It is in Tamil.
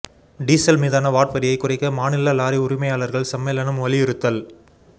டீசல் மீதான வாட் வரியைக் குறைக்க மாநில லாரி உரிமையாளா்கள் சம்மேளனம் வலியுறுத்தல்